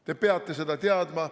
Te peate seda teadma.